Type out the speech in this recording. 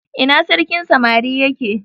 ina sarkin samari ya ke?